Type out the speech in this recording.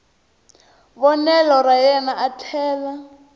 vonelo ra yena a tlhela